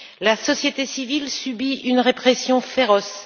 La société civile subit une répression féroce.